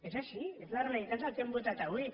és així és la realitat del que hem votat avui